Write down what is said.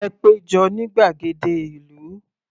Ẹ pé jọ ní gbàgede ìlú.